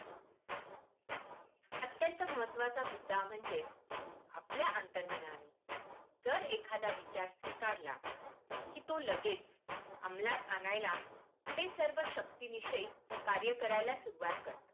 अत्यंत महत्त्वा चा मुद्दा म्हणजे आपल्या अंतर्मनाने जर एखादा विचार स्वीकारला तर कि तो लगेच अमलात आणायला ते सर्व शक्ती निशी कार्य करायला सुरुवात करतात.